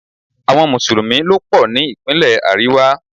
Àwọn Mùsùlùmí ló pò ní Ìpínlẹ̀ àríwá.